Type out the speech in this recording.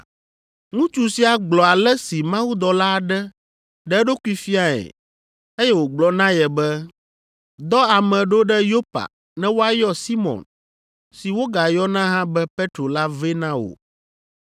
Ŋutsu sia gblɔ ale si mawudɔla aɖe ɖe eɖokui fiae eye wògblɔ na ye be, ‘Dɔ ame ɖo ɖe Yopa ne woayɔ Simɔn si wogayɔna hã be Petro la vɛ na wò.